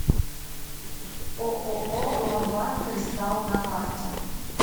ооо ломбард кристалл на карте